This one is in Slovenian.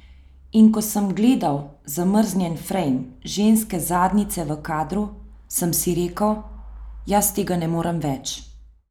In ko sem gledal zamrznjen frejm ženske zadnjice v kadru, sem si rekel, jaz tega ne morem več.